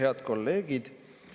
Head kolleegid!